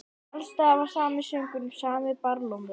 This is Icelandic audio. Alls staðar var sami söngurinn, sami barlómurinn.